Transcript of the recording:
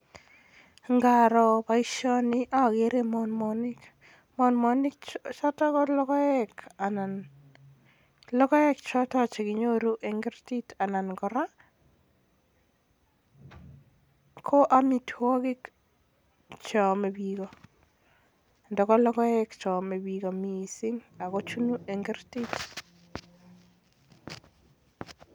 Ngaro boisioni akere monmonik choton ko logoek chekinyoru en street anan kora ko amitwogik cheome biik, amun logoek cheome biik missing